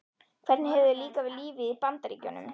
Hvernig hefur þér líkað við lífið í Bandaríkjunum?